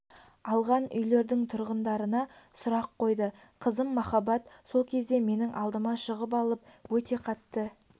алған үйлердің тұрғындарына сұрақ қойды қызым махаббат сол кезде менің алдыма шығып алып өте қатты